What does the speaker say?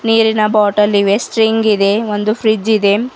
ನೀರಿನ ಬಾಟಲ್ ಇವೆ ಸ್ಪ್ರಿಂಗ್ ಇದೆ ಒಂದು ಫ್ರಿಡ್ಜ್ ಇದೆ.